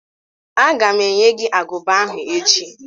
Aga m enye gị agụba ahụ echi